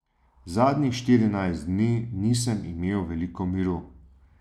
Zadnjih štirinajst dni nisem imel veliko miru.